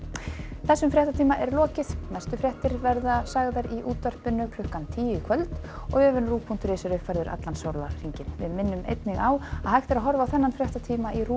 þessum fréttatíma er lokið næstu fréttir verða sagðar í útvarpi klukkan tíu í kvöld og vefurinn rúv punktur is er uppfærður allan sólarhringinn við minnum einnig á að hægt er að horfa á þennan fréttatíma í RÚV